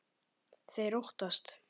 Þeir óttast.